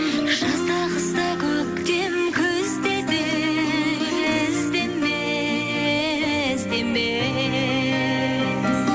жазда қыста көктем күзде де іздеме іздеме